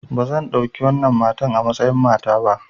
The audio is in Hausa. Ba zan ɗauki wannan matar a matsayin mata ba!